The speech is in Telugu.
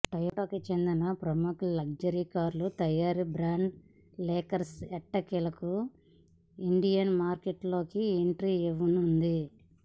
టయోటాకు చెందిన ప్రముఖ లగ్జరీ కార్ల తయారీ బ్రాండ్ లెక్సస్ ఎట్టకేలకు ఇండియన్ మార్కెట్లోకి ఎంట్రీ ఇవ్వనుంది